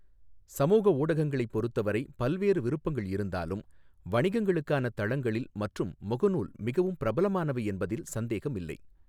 சமூக ஊடகங்களைப் பொறுத்தவரை பல்வேறு விருப்பங்கள் இருந்தாலும், வணிகங்களுக்கான தளங்களில் மற்றும் முகநூல் மிகவும் பிரபலமானவை என்பதில் சந்தேகம் இல்லை.